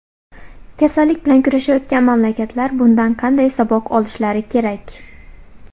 Kasallik bilan kurashayotgan mamlakatlar bundan qanday saboq olishlari kerak?